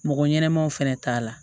Mɔgɔ ɲɛnɛmaw fɛnɛ t'a la